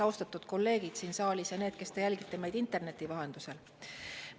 Austatud kolleegid siin saalis ja need, kes te jälgite meid interneti vahendusel!